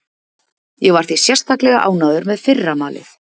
Ég var því sérstaklega ánægður með fyrra malið.